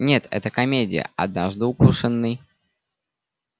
нет это комедия однажды укушенный